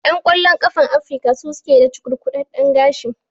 Ƴan ƙwallon ƙafan Afrika su suke da cukurkudaɗɗen gashi.